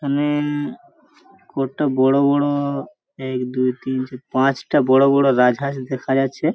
এখানে হুম-ম-ম কয়টা বড় বড় একদুইতিনচারপাঁচটা বড় বড় গাছ আছে দেখা যাচ্ছে।